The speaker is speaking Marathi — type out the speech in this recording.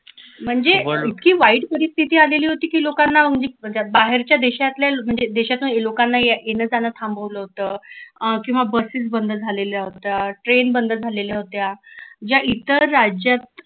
म्हणजे इतकी वाईट परिस्थिती आलेली होती की लोकांना म्हणजे बाहेरच्या देशातल्या म्हणजे देशातुन लोकांना येणं जाण थांबवलं होत अं किंवा buses बंद झालेल्या होत्या train बंद झालेल्या होत्या ज्या इतर राज्यात